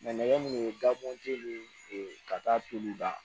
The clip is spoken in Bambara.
nɛgɛ min ye dabɔnje nin ka taa turu la